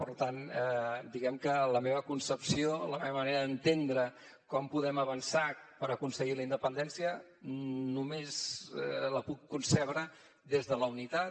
per tant diguem que la meva concepció la meva manera d’entendre com podem avançar per aconseguir la independència només la puc concebre des de la unitat